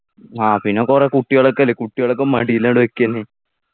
ആ പിന്ന കൊറേ കുട്ടികളൊക്കെയല്ലേ കുട്ടികളൊക്കെ മടീലങ്ട് വെക്ക എന്നെ